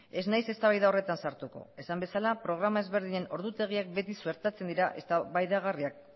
ez naiz eztabaida horretan sartuko esan bezala programa ezberdinen ordutegiak beti suertatzen dira eztabaidagarriak